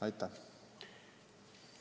Aitäh!